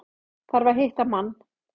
Þarf að hitta mann.